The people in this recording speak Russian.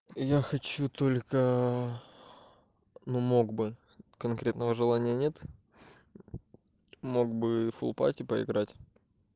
я хочу только но мог бы конкретного желания нет мог бы фулпать поиграть